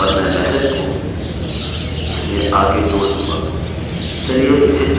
और मैं message को इसमें आगे जोड़ दूँगा